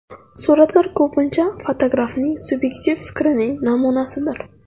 Suratlar ko‘pincha fotografning subyektiv fikrining namunasidir.